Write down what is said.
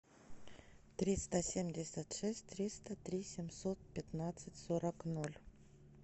триста семьдесят шесть триста три семьсот пятнадцать сорок ноль